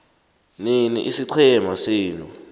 nini isiqhema senu